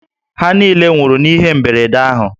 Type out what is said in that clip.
Ha niile nwụrụ n'ihe mberede ahụ